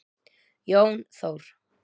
Jón Þór.